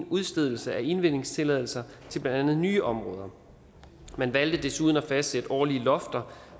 udstedelse af indvindingstilladelser til blandt andet nye områder man valgte desuden at fastsætte årlige lofter